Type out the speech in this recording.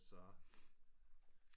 Så